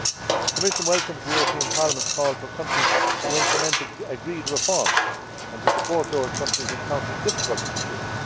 The Commission welcomes Parliament's call for countries to implement the agreed reforms and to support those countries encountering difficulties in this.